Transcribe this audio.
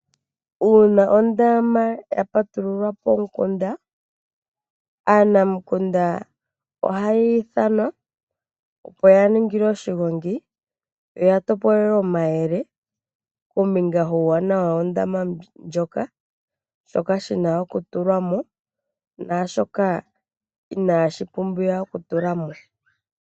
Uuna oondama ya patilulwa pomukunda aanamukunda ohaya ithanwa koshigongi opo ya lombwelwe omayele kombinga yuuwananawa womndama ndjoka shoka shina okutulwa mo naashoka inashi pumbwa okutulwa mo.